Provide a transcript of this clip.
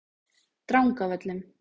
Drangavöllum